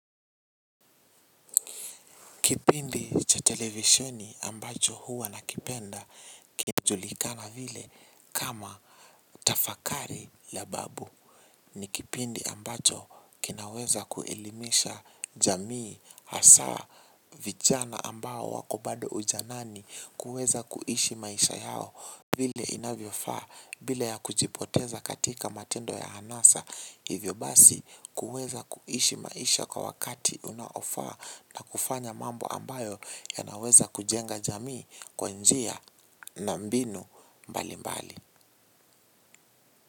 Kipindi cha televisioni ambacho huwa nakipenda kinajulikana vile kama tafakari la babu ni kipindi ambacho kinaweza kuelimisha jamii hasaa vijana ambao wako bado ujanani kuweza kuishi maisha yao vile inavyofaa bila ya kujipoteza katika matendo ya hanasa. Hivyo basi kuweza kuishi maisha kwa wakati unaofaa na kufanya mambo ambayo yanaweza kujenga jamii kwa njia na mbinu mbali mbali.